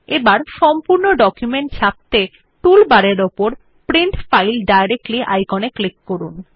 এখন সম্পূর্ণ ডকুমেন্ট ছাপত়ে টুল বারের উপর প্রিন্ট ফাইল ডাইরেক্টলি আইকনে ক্লিক করুন